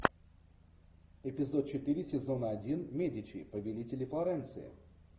эпизод четыре сезона один медичи победители флоренции